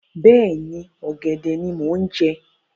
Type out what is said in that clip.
Bẹ́ẹ̀ni, ọ̀gẹ̀dẹ̀ ni mo ń jẹ